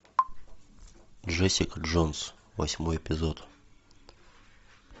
джессика джонс восьмой эпизод